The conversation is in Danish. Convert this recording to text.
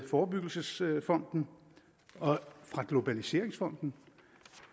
forebyggelsesfonden og globaliseringsfonden